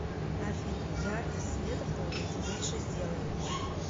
афина яркость света в туалете меньше сделай